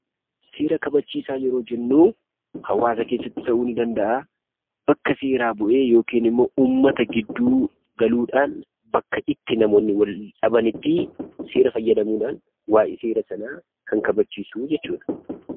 Seera kabachiisaa yeroo jennuu hawaasa keessatti ta'uu nii danda'aa bakka seeraa bu'ee yokiin immoo uummata gidduu galuudhaan bakka itti namoonni waldhabanittii seera fayyadamuudhaan waa'ee seera sanaa kan kabachiisuu jechuudha.